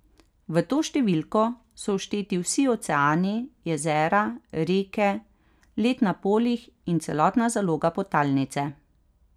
V to številko so všteti vsi oceani, jezera, reke, led na polih in celotna zaloga podtalnice.